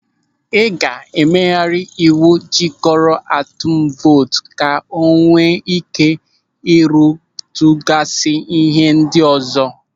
Ị ga-emegharị ịwụ jikọrọ atụm vootu ka o nwee ị́ké ịrụtụgasi n'ihe ndị ọzọ.